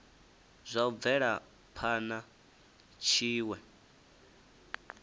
zwa u bvela phana tshiwe